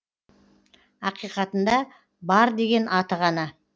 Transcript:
ақиқатында бар деген аты ғана